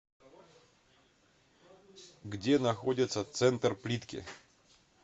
где находится центр плитки